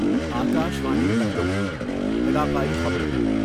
آکاشوانی لکھنو علاقائی خبریں